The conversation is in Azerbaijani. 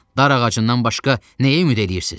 Dar ağacından başqa nəyə ümid eləyirsiz?